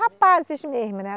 Rapazes mesmo, né?